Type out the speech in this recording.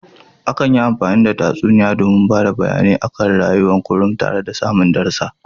Akan yi amfani da tsatsuniya domin bada bayane a kan rayuwan kunlum tara da samun darasa